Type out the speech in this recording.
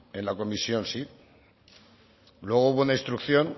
en la comisión sí luego hubo una instrucción